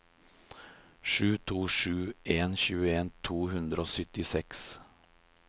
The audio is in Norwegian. sju to sju en tjueto to hundre og syttiseks